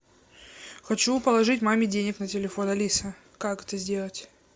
хочу положить маме денег на телефон алиса как это сделать